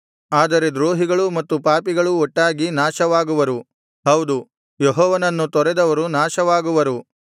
ಆದರೆ ದ್ರೋಹಿಗಳೂ ಮತ್ತು ಪಾಪಿಗಳೂ ಒಟ್ಟಾಗಿ ನಾಶವಾಗುವರು ಹೌದು ಯೆಹೋವನನ್ನು ತೊರೆದವರು ನಾಶವಾಗುವರು